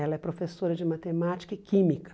Ela é professora de matemática e química.